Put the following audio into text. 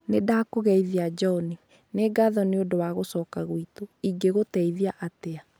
Nĩ ndakũgeithia John, nĩ ngatho nĩ ũndũ wa gũcoka gwitũ. Ingĩkũteithia atĩa?